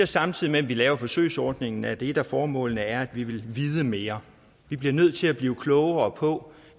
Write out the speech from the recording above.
samtidig med at vi laver forsøgsordningen er et af formålene at vi vil vide mere vi bliver nødt til at blive klogere på